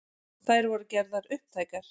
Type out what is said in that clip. Þær voru gerðar upptækar